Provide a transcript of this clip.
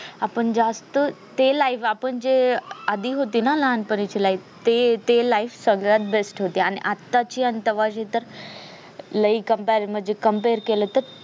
आपण जास्त ते life आपण जे आधी होत ना लहानपणीचे life ते ते life सगळ्यात best होती आणि आता ची आणि तव्हाची तर लई कंप्यार मध्ये compare केल तर